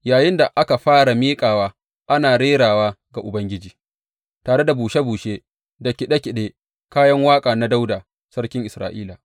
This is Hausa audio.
Yayinda aka fara miƙawa, ana rerawa ga Ubangiji, tare da bushe bushe da kiɗe kiɗen kayan waƙa na Dawuda sarkin Isra’ila.